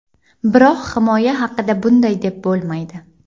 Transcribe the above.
Biroq himoya haqida bunday deb bo‘lmaydi.